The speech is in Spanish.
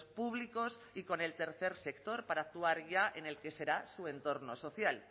públicos y con el tercer sector para actuar ya en el que será su entorno social